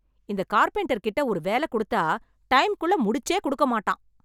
இந்த கார்பென்டர் கிட்ட ஒரு வேலை கொடுத்தா டைம்குள்ள முடிச்சே கொடுக்க மாட்டான்.